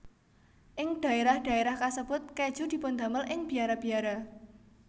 Ing dhaérah dhaérah kasebut kèju dipundamel ing biara biara